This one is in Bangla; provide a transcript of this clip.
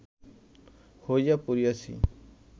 হইয়া পড়িয়াছি